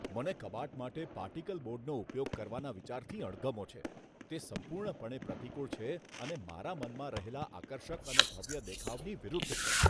મને કબાટ માટે પાર્ટિકલ બોર્ડનો ઉપયોગ કરવાના વિચારથી અણગમો છે. તે સંપૂર્ણપણે પ્રતિકૂળ છે અને મારા મનમાં રહેલા આકર્ષક અને ભવ્ય દેખાવની વિરુદ્ધ છે.